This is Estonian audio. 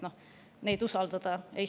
Neid ei saa usaldada.